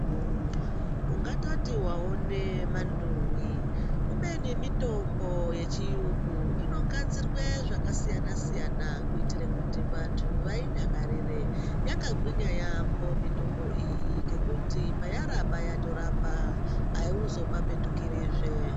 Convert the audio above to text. Ungatoti waone manduwi ubemi mitombo yechirungu inogadzirwa zvakasiyana-siyana kuitira kuti vantu vaidakarire yakagwinya yambo mitombo iyi ngekuti payaramba yatoramba hauzopapetukirizve.